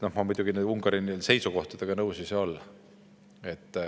Aga loomulikult, Ungari seisukohtadega ma nõus ei saa olla.